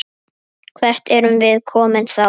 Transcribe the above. Hvert erum við komin þá?